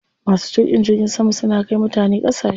Masu tuƙin jirgin sama suna kai mutane ƙasashe.